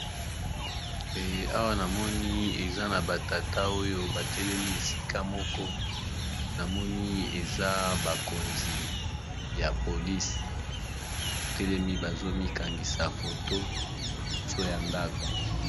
Awa namoni eza na batata oyo batelemi esika moko namoni eza bakonzi ya polisi batelemi bazomikangisa foto liboso ya ndako.